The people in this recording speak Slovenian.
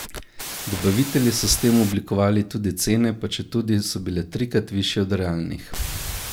Dobavitelji so s tem oblikovali tudi cene, pa četudi so bile trikrat višje od realnih.